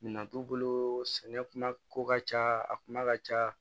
Minɛn t'u bolo sɛnɛko ka ca a kuma ka ca